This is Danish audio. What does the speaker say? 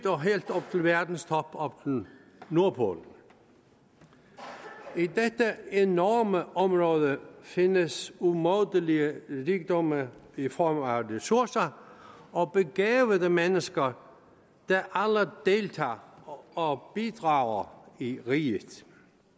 og verdens top oppe ved nordpolen i dette enorme område findes umådelige rigdomme i form af ressourcer og begavede mennesker der alle deltager og bidrager i riget